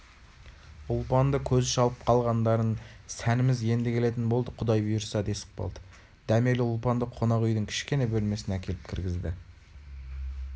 ұлпанды көзі шалып қалғандарыо сәніміз енді келетін болды құдай бұйырса десіп қалды дәмелі ұлпанды қонақ үйдің кішкене бөлмесіне әкеліп кіргізді